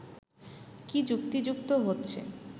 কি যুক্তিযুক্ত হচ্ছে